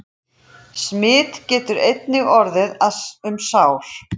Smit getur einnig orðið um sár.